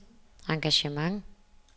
engagement